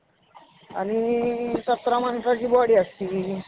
आणि सतरा माणसाची body असती.